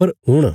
पर हुण